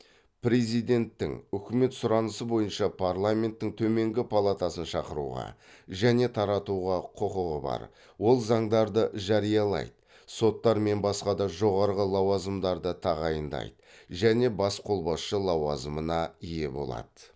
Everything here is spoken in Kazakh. президенттің үкімет сұранысы бойынша парламенттің төменгі палатасын шақыруға және таратуға құқығы бар ол заңдарды жариялайды соттар мен басқа да жоғарғы лауазымдарды тағайындайды және бас қолбасшы лауазымына ие болады